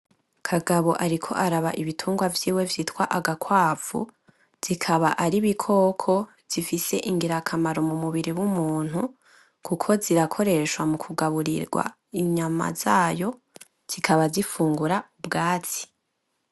Kagabo ariko araba ibitungwa vyiwe vyitwa agakwavu, zikaba ari ibikoko zifise ingirakamaro m'umubiri w'umuntu, kuko zirakoreshwa mu kuga urirwa inyama zayo, zikaba zifungura ubwatsi.